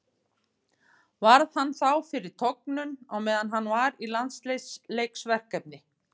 Varð hann þá fyrir tognun á meðan hann var í landsliðsverkefni.